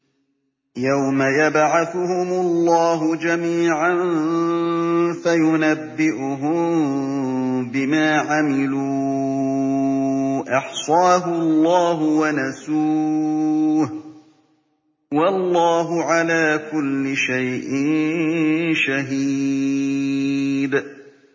يَوْمَ يَبْعَثُهُمُ اللَّهُ جَمِيعًا فَيُنَبِّئُهُم بِمَا عَمِلُوا ۚ أَحْصَاهُ اللَّهُ وَنَسُوهُ ۚ وَاللَّهُ عَلَىٰ كُلِّ شَيْءٍ شَهِيدٌ